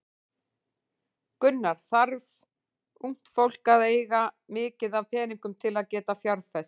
Gunnar: Þarf ungt fólk að eiga mikið af peningum til að geta fjárfest?